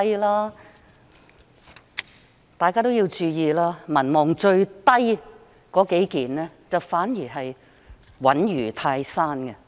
請大家注意，民望最低的數位官員，反而穩如泰山。